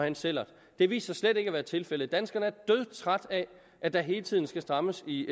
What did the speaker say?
en sællert det viste sig slet ikke at være tilfældet danskerne er dødtrætte af at der hele tiden skal strammes i